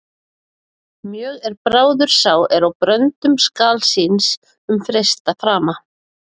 Mjög er bráður sá er á bröndum skal síns um freista frama.